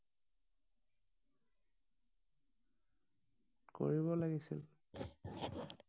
কৰিব লাগিছিল